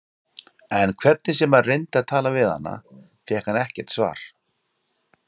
En hvernig sem hann reyndi að tala við hana fékk hann ekkert svar.